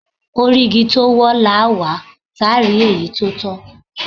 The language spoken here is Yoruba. Orí igi tó wọ́, làá wà, táà rí èyí tó tọ́.